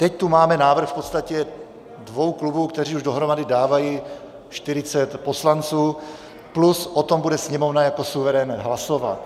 Teď tu máme návrh v podstatě dvou klubů, které už dohromady dávají 40 poslanců, plus o tom bude Sněmovna jako suverén hlasovat.